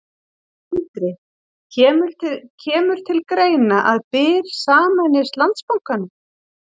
Sindri: Kemur til greina að Byr sameinist Landsbankanum?